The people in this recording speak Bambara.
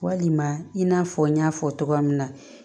Walima in n'a fɔ n y'a fɔ cogoya min na